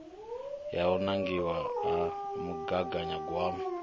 ya u nangiwa ha mugaganyagwama